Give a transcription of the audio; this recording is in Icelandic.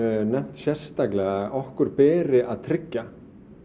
nefnt sérstaklega okkur beri að tryggja